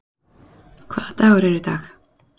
Hvaða dagur er í dag?